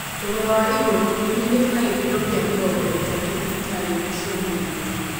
Thogora wa igũrũ nĩũnyihĩte na gĩkĩro kĩa mĩrongo ĩtatu thibitarĩ inĩ cia mũingĩ